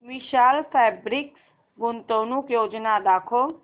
विशाल fabrics गुंतवणूक योजना दाखव